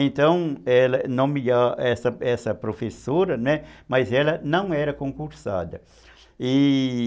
Então, ela era nomea essa essa professora, né, mas não era concursada, e